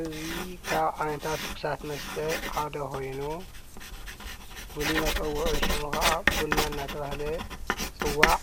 እዚ ካብ ዓይነታት ትኩሳት መስተ ሓደ ኮይኑ፤ ፍሉይ መፀወዒ ሹሙ ከዓ ቡና እናተብሃለ ይፅዋዕ፡፡